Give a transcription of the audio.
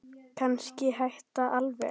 Kannski hætta alveg.